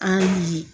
An ye